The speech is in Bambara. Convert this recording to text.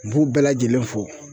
U b'u bɛɛ lajɛlen fo